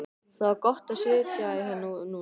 Það var gott að sitja hérna núna.